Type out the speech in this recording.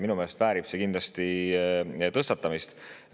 Minu meelest väärib see kindlasti tõstatamist.